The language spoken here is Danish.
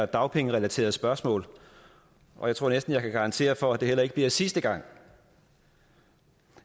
dagpengerelaterede spørgsmål og jeg tror næsten jeg kan garantere for at det heller ikke bliver sidste gang